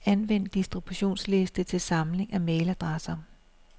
Anvend distributionsliste til samling af mailadresser.